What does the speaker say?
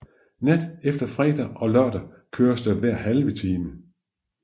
Nat efter fredag og lørdag køres der hver halve time